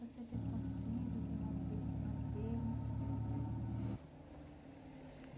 Você teve quantos filhos, o nome dele os nomes deles?